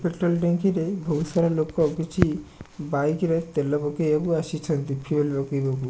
Petrol ଟାଙ୍କି ରେ ବହୁତ ସାରା ଲୋକ କିଛି ବାଇକ ରେ ତେଲ ପକେଇବାକୁ ଆସିଛନ୍ତି ଫୁଏଲ ପକେଇବାକୁ।